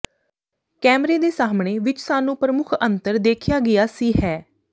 ਕੈਮਰੇ ਦੇ ਸਾਹਮਣੇ ਵਿਚ ਸਾਨੂੰ ਪ੍ਰਮੁੱਖ ਅੰਤਰ ਦੇਖਿਆ ਗਿਆ ਸੀ ਹੈ